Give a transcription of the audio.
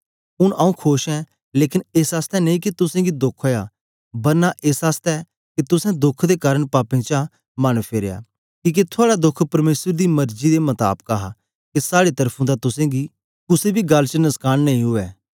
ऊन आंऊँ खोश ऐं लेकन एस आसतै नेई के तुसेंगी दोख ओया बरना एस आसतै के तुसें दोख दे कारन पापें चां मन फेरया किके थुआड़ा दोख परमेसर दी मर्जी दे मताबाक हा के साड़े तरफुं दा तुसेंगी कुसे बी गल्ल च नसकान नेई उवै